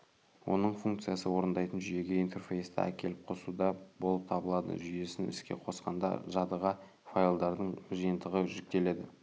оның функциясы орындайтын жүйеге интерфейсті әкеліп қосуда болып табылады жүйесін іске қосқанда жадыға файлдардың жиынтығы жүктеледі